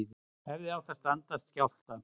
Hefðu átt að standast skjálfta